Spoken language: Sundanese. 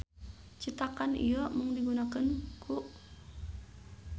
Citakan ieu mung digunakeun ku.